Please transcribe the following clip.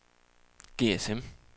GSM